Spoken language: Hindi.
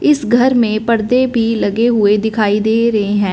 इस घर में पर्दे भी लगे हुए दिखाई दे रहे हैं।